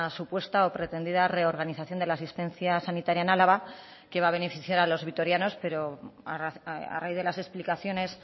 supuesta o pretendida reorganización de la asistencia sanitaria en álava que va a beneficiar a los vitorianos pero a raíz de las explicaciones